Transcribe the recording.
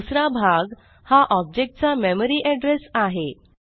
दुसरा भाग हा ऑब्जेक्ट चा मेमरी एड्रेस आहे